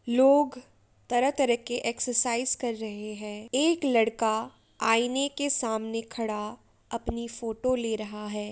लोग तरह तरह के एक्ससाइज कर रहे हैं। एक लड़का आईने के सामने खड़ा अपनी फोटो ले रहा है।